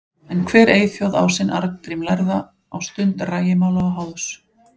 En hver eyþjóð á sinn Arngrím lærða á stund rægimála og háðs.